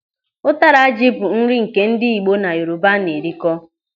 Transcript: Ụtara ji bụ nri nke ndị Igbo na Yoruba na-erikọ.